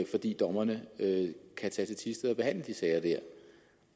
fordi dommerne kan tage til thisted og behandle de sager der